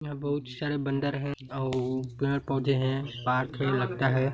बहुत सारे बंदर है आउ पेड़ पॉधे है पार्क है लगता है।